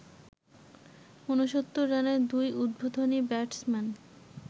৬৯ রানে দুই উদ্বোধনী ব্যাটসম্যান